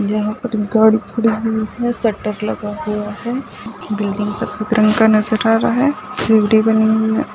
यहां पर एक गाड़ी खड़ी हुई है शटर लगा हुआ है बिल्डिंग से नजर आ रहा है सीढ़ी बनी हुई है।